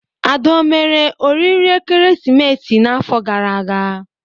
Ada omere oriri ekeresimesi n'afọ gara aga?